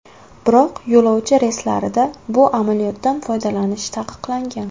Biroq yo‘lovchi reyslarida bu amaliyotdan foydalanish taqiqlangan.